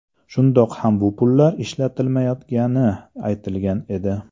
Shundoq ham bu pullar ishlatilmayotgani aytilgan edi.